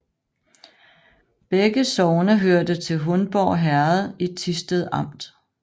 Begge sogne hørte til Hundborg Herred i Thisted Amt